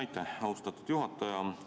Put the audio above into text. Aitäh, austatud juhataja!